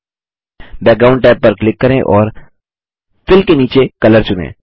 background tab पर click करें और फिल के नीचे कलर चुनें